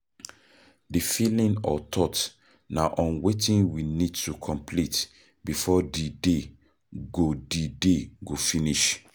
The feeling or thought na on wetin we need to complete before di day go di day go finish